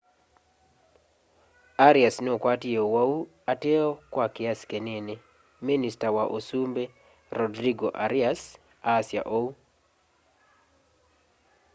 arias nukwatie uwau ateo kwa kiasi kinini minista wa usumbi rodrigo arias asya ûu